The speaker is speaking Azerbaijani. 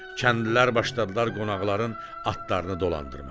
Kəndlilər başladılar qonaqların atlarını dolandırmağa.